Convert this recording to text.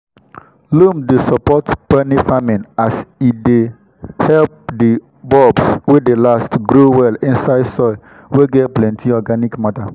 loam dey support peony farming as e help di bulbs wey dey last grow well inside soil wey get plenty organic matter.